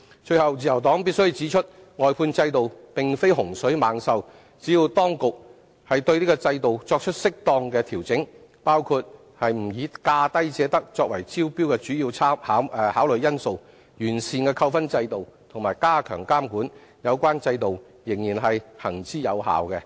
最後，自由黨必須指出，外判制度並非洪水猛獸，只要當局對制度作出適當調整，包括不以"價低者得"作為招標的主要考慮因素、完善扣分制度及加強監管，有關制度仍然行之有效。